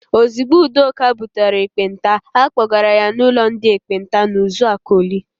Ozigbo Udoka butere ekpenta, a kpọgara ya n'ụlọ ndị ekpenta nọ n'Uzuakọlị.